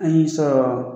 An y'i sɔrɔ